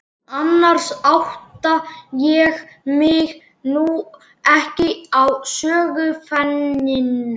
Annars átta ég mig nú ekki á söguefninu.